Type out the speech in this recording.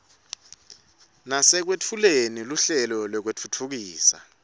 nasekwetfuleni luhlelo lwekutfutfukisa